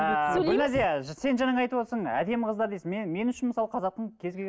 ыыы гүлназия сен жаңа айтып отырсың әдемі қыздар дейсің мен мен үшін мысалы қазақтың кез